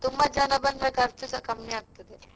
ತುಂಬಾ ಜನ ಬಂದ್ರೆ ಖರ್ಚುಸ ಕಮ್ಮಿ ಆಗ್ತದೆ.